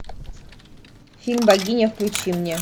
фильм богиня включи мне